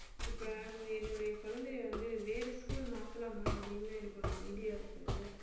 இப்ப என்னுடைய குழந்தையை வந்து வேற school மாத்தலாமா அப்படின்னு எனக்கு ஒரு idea இருக்கு